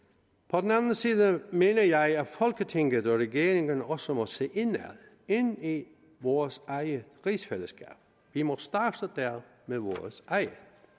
på den anden side mener jeg at folketinget og regeringen også må se indad ind i vores eget rigsfællesskab vi må starte der med vores eget